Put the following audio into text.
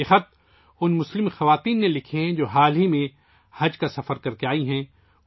یہ خطوط ان مسلم خواتین نے لکھے ہیں ، جو حال ہی میں حج کا سفر کرکے آئی ہیں